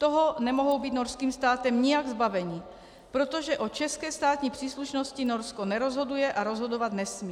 Toho nemohou být norským státem nijak zbaveni, protože o české státní příslušnosti Norsko nerozhoduje a rozhodovat nesmí.